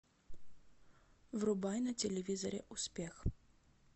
врубай на телевизоре успех